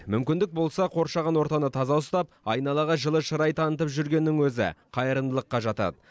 мүмкіндік болса қоршаған ортаны таза ұстап айналаға жылы шырай танытып жүргеннің өзі қайырымдылыққа жатады